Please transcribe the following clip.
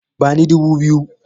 Bani dubu biyu!